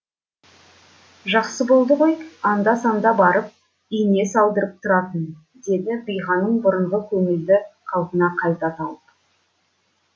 жақсы болды ғой анда санда барып ине салдырып тұратын деді биғаным бұрынғы көңілді қалпын қайта тауып